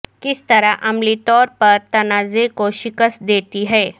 کس طرح عملی طور پر تنازع کو شکست دیتی ہے